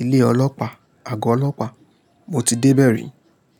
ilé Ọlọ́pàá, Àgọ́ Ọlọ́pàá, mo ti dé bẹ̀ rí.